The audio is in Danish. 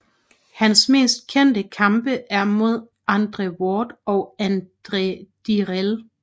Hans mest kendte kampe er mod Andre Ward og Andre Dirrell